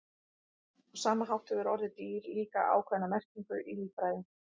Á sama hátt hefur orðið dýr líka ákveðna merkingu í líffræði.